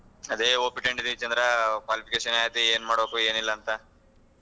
ಅದೇ hope ಇಟ್ಕೊಂಡೀವಿ ಚಂದ್ರ qualification ಆಯ್ತು ಏನ್ ಮಾಡಬೇಕೋ ಏನ್ ಇಲ್ಲ ಅಂತಾ.